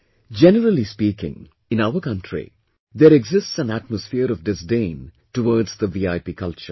Generally speaking, in our country there exists an atmosphere of disdain towards the VIP culture